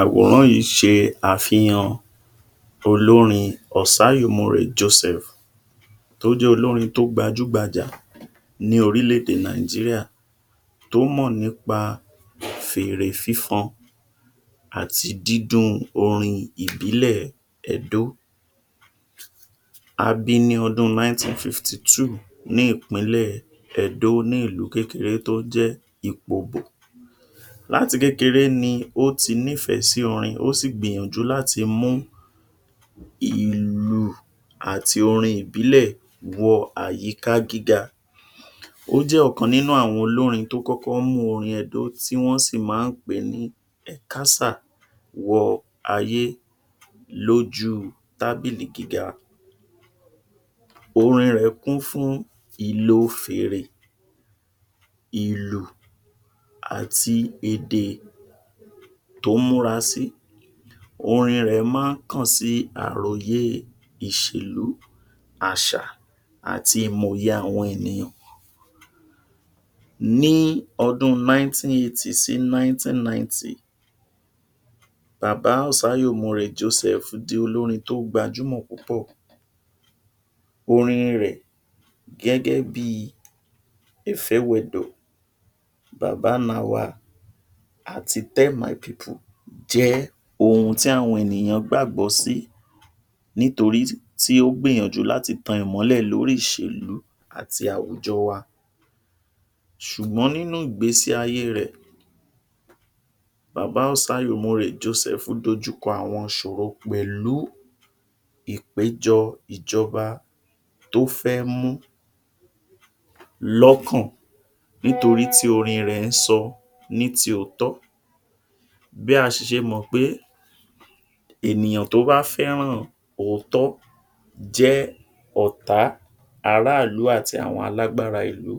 Àwòrán yìí ṣe àfihàn olórin Osayomore Joseph tó jẹ́ olórin tó gbajú gbajà ní orílẹ̀ èdè Nàìjíríà, tó mọ̀ nípa fèrè fífọn àti dídún-un orin ìbílẹ̀ Ẹdó. A bi ní ọdun nineteen fifty two ní ìpínlẹ̀ Ẹdó ní ìlú kékeré tó jẹ́ Ìpobò. Láti kékeré ni ó ti nífẹ̀ẹ́ sí orin, ó sì gbìyànjú láti mú ìlù àti orin ìbílẹ̀ wọ àyíká gíga. Ó jẹ́ ọ̀kan nínú àwọn olórin tó kọ́kọ́ mú orin Ẹdó tí wọ́n sì maá pè ní Ẹ̀kásà wọ ayé lójú tábílì gíga. Orin rẹ̀ kún fún ìlo fèèrè, ìlù àti èdè tó múra sì. Orin rẹ̀ maá kàn sí àròyé ìṣèlú, àṣà àti ìmòye àwọn ènìyàn. Ní ọdún nineteen eighty sí nineteen ninety, Bàbá Osayomore Joseph di olórin tó gbajúmò púpọ̀. Orin rẹ̀ gẹ́gẹ́ bí ‘Efewedo’, ‘Babanawa’, àti ‘Tell my people’ jẹ́ ohun tí àwọn ènìyàn gbàgbọ́ sí nítorí tí ó gbìyànjú láti tan ìmọ́lẹ̀ lórí ìṣèlú àti àwùjọ wa. Ṣùgbọ́n nínú ìgbésí ayé rẹ̀, bàbá Osayomore Joseph dojuḱọ àwọn ìṣòro pẹ̀lú ìpéjọ ìjọba tó fẹ́ mú lọ́kàn nítorí tí orin rẹ̀ sọ ní ti òótọ́. Bí a ṣì ṣe mọ̀ pé ènìyàn tó bá fẹ́ràn òótọ́ jẹ́ ọ̀tá aráàlú àti àwọn alágbára ìlú.